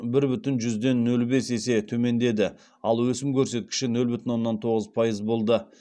бір бүтін жүзден нөл бес есе төмендеді ал өсім көрсеткіші нөл бүтін оннан тоғыз пайыз болды